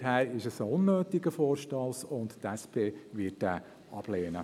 Daher ist es ein unnötiger Vorstoss, und die SP wird ihn ablehnen.